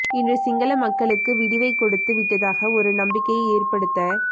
இன்று சிங்கள மக்களுக்கு விடிவைக் கொடுத்து விட்டதாக ஒரு நம்பிக்கையை ஏற்படுத்த